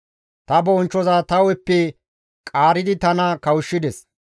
Ta bonchchoza ta hu7eppe qaaridi tana kawushshides.